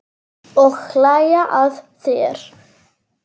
Og hlæja að þér.